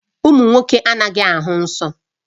Ụmụ nwoke anaghị ahụ nsọ